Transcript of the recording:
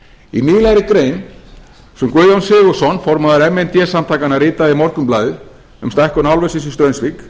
í nýlegri grein sem guðjón sigurðsson formaður m n d samtakanna ritaði í morgunblaðið um stækkun álversins í straumsvík